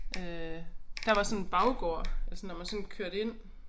Øh der var sådan baggård altså når man sådan kørte ind